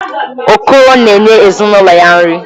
Okoro na-enye ezinụlọ ya nri.